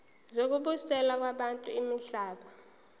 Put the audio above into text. zokubuyiselwa kwabantu imihlaba